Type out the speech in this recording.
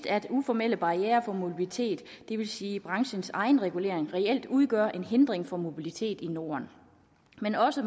at uformelle barrierer for mobilitet det vil sige branchens egen regulering reelt udgør en hindring for mobilitet i norden men også